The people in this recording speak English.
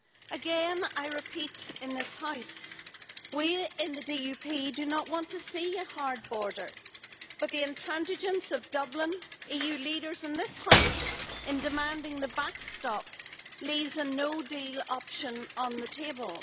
Again, I repeat in this House, we in the DUP do not want to see a hard border, but the intransigence of Dublin and EU leaders in this House in demanding the backstop leaves a no-deal option on the table.